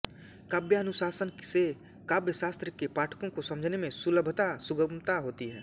काव्यानुशासन से काव्यशास्त्र के पाठकों कों समझने में सुलभता सुगमता होती है